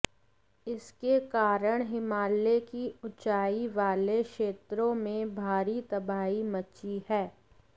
इसके कारण हिमालय की ऊंचाई वाले क्षेत्रों में भारी तबाही मची है